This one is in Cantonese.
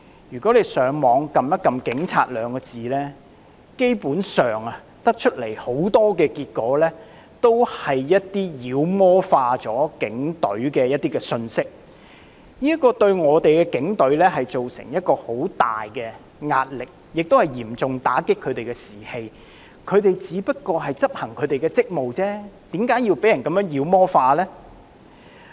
如果大家上網鍵入"警察"兩字，基本上所顯示的大都是一些把警隊妖魔化的信息，這對警隊造成極大壓力，亦嚴重打擊他們的士氣，他們只不過是執行職務而已，為何會被人如此妖魔化呢？